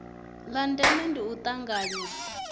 la ndeme ndi u tanganywa